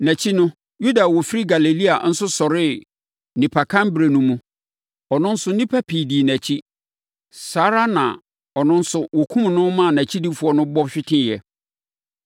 Nʼakyi no, Yuda a ɔfiri Galilea nso sɔree nnipakanberɛ no mu. Ɔno nso nnipa pii dii nʼakyi. Saa ara na ɔno nso wɔkumm no ma nʼakyidifoɔ no bɔ hweteeɛ.